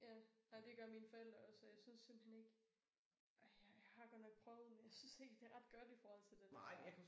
Ja ej det gør mine forældre også og jeg synes simpelthen ikke ej jeg jeg har godt nok prøvet jeg synes ikke det ret godt i forhold til det der